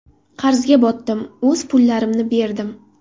Qarzga botdim, o‘z pullarimni berdim.